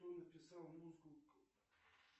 кто написал музыку к